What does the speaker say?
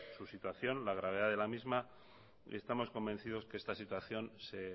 su situación la gravedad de la misma y estamos convencidos que esta situación se